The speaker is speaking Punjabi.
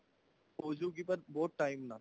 ਹੋਜੂਗੀ ਉਹ but time ਨਾਲ